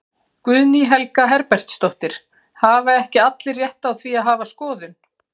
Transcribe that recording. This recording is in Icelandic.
Guðný Helga Herbertsdóttir: Hafa ekki allir rétt á því að hafa skoðun?